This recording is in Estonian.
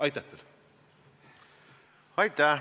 Aitäh!